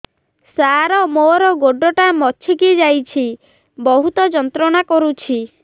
ସାର ମୋର ଗୋଡ ଟା ମଛକି ଯାଇଛି ବହୁତ ଯନ୍ତ୍ରଣା କରୁଛି